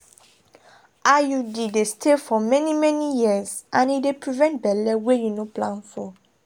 iud dey stay for many-many years and e dey prevent belle wey you no plan for.